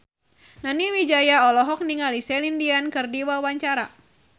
Nani Wijaya olohok ningali Celine Dion keur diwawancara